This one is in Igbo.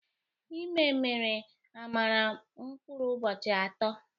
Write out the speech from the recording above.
Ịme meere Amara mkpụrụ ụbọchị ato